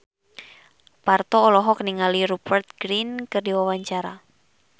Parto olohok ningali Rupert Grin keur diwawancara